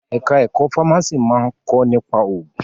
Ẹ̀ka ẹ̀kọ́ fámásì máa ń kọ́ nípa òògùn.